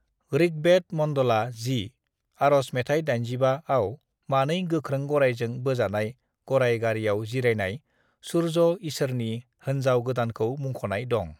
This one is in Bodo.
"ऋग्वेद मंडला 10, आरज मेथाय 85 आव मानै गोख्रों गरायजों बोजानाय गराय गारियाव जिरायनाय सुर्य ईसोरनि होनजाव गोदानखौ मुंख'नाय दं।"